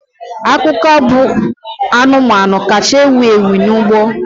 Ọkụkọ bụ anụmanụ kacha ewu ewu n'ugbo.